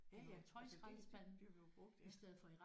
Ja ja altså det det bliver jo brugt